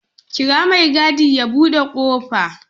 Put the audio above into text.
Kira mai gadi ya buɗe ƙofa